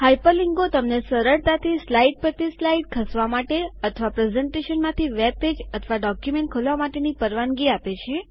hyper લીન્કો તમને સરળતાથી સ્લાઇડ પરથી સ્લાઇડ ખસવા માટે અથવા પ્રસ્તુતિકરણ માંથી વેબ પેજ અથવા ડોક્યુમેન્ટ ખોલવા માટેની પરવાનગી આપે છે